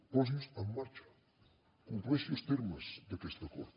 posi’s en marxa compleixi els termes d’aquest acord